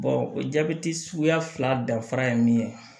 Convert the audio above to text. o jabɛti suguya fila dafara ye min ye